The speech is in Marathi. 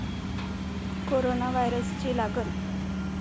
कोरोना व्हायरसची लागण